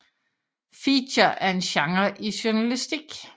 Feature er en genre i journalistik